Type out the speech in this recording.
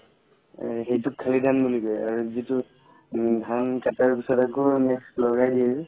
সেইটোক খালি ধান বুলি কই আৰু যিতো ধান কাটাৰ আগত next লগাই দিয়ে যে